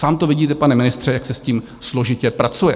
Sám to vidíte, pane ministře, jak se s tím složitě pracuje.